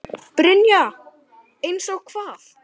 Brynja: Eins og hvað?